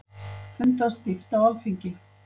Fundað stíft á Alþingi